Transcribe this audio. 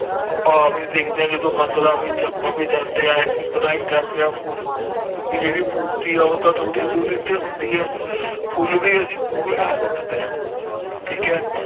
ਆਪਾ ਵੀ ਦੇਵੀਆਂ ਜਦੋ ਮੰਦਿਰਾਂ ਵਿਚ ਆਪਾ ਵੀ ਜਾਂਦੇ ਆ ਇਸੀ ਤਰ੍ਹਾਂ ਹੀ ਕਰਦੇ ਆ ਕਿਉਕਿ ਜੇੜੀ ਮੂਰਤੀ ਆ ਉਹ ਤਾ ਥੋੜੀ ਦੂਰੀ ਤੇ ਹੁੰਦੀ ਹੈ ਫੁੱਲ ਭੀ ਅਸੀਂ ਦੂਰੋਂ ਹੀ ਸੂਟ ਦੇ ਆ ਠੀਕ ਹੈ